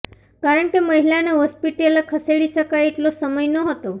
કારણ કે મહિલાને હોસ્પિટલે ખસેડી શકાય એટલો સમય નહોતો